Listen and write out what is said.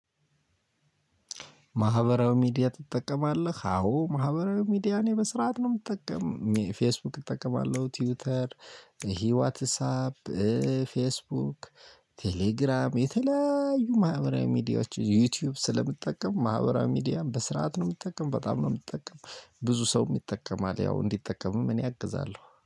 ማህበራዊ ሚዲያ ትጠቀማለህ? አዎ ማህበራዊ ሚዲያ እኔ በስርዓት ነው ምጠቀም፤ ፌስቡክ እጠቀማለሁ፤ ትዊተር ይሄ ዋትሳፕ ፌስቡክ፣ ቴሌግራም የተለያዩ ማህበራዊ ሚዲያዎችን ዩቲዩብ ስለምጠቀም ማህበራዊ ሚዲያን በስርዓት ነው ምጠቀም በጣም ነው ምጠቀም፤ ብዙ ሰውም ይጠቀማል ያው እንዲጠቀምም እኔ አግዛለሁ